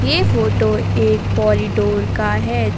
ये फोटो एक कॉरिडोर का है य--